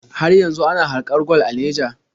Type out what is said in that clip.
Har yanzu ana haƙar gwal a Naija?